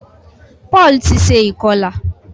Paul tí ṣe ikọla.